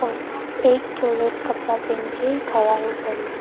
और एक जोड़े कपड़ा पहन के खड़ा है ऊपर में।